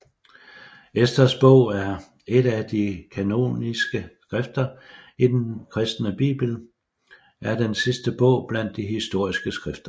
Esters bog er et af de kanoniske skrifter i den kristne Bibel er den sidste bog blandt de historiske skrifter